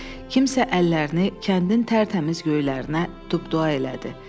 Kimsə əllərini kəndin tərtəmiz göylərinə dua elədi.